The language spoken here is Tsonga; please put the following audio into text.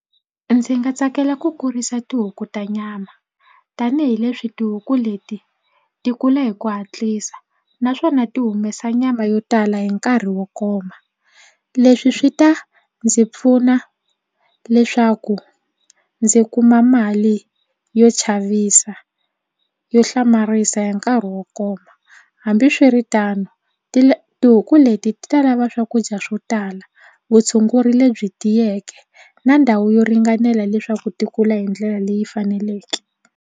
Ndzi nga tsakela ku kurisa tihuku ta nyama tanihileswi tihuku leti ti kula hi ku hatlisa naswona ti humesa nyama yo tala hi nkarhi wo koma. Leswi swi ta ndzi pfuna leswaku ndzi kuma mali yo chavisa yo hlamarisa hi nkarhi wo koma hambiswiritano tihuku leti ta lava swakudya swo tala vutshunguri lebyi tiyeke na ndhawu yo ringanela leswaku ti kula hi ndlela leyi faneleke.